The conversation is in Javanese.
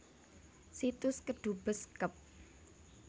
Situs Kedubes Kep